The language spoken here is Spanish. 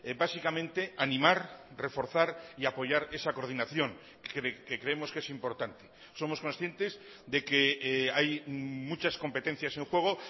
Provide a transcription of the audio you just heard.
básicamente animar reforzar y apoyar esa coordinación que creemos que es importante somos conscientes de que hay muchas competencias en juego